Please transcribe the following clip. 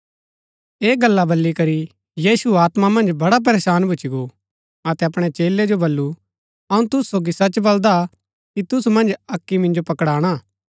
ऐह गल्ला बली करी यीशु आत्मा मन्ज बड़ा परेशान भूच्ची गो अतै अपणै चेलै जो बल्लू अऊँ तूसु सोगी सच बलदा कि तूसु मन्ज अक्की मिन्जो पकड़ाणा हा